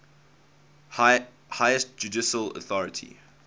highest judicial authority